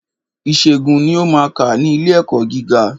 Ìṣègùn ni ó maa kà ní ilé ẹ̀kọ́ gíga.